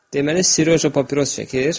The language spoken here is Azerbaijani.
Deməli, Siroja papiros çəkir.